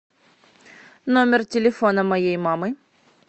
номер телефона моей мамы